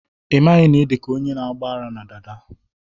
ị maghị na ị na idi ka onye na-agba ara na dada?